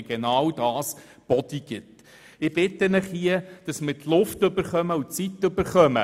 Die Wege auf dem Trottoir links und rechts vor dem Rathaus sind frei, die Kreuzgasse ist geschlossen.